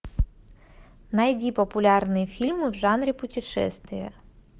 найди популярные фильмы в жанре путешествия